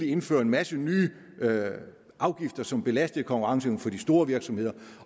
indføre en masse nye afgifter som belastede konkurrenceevnen for de store virksomheder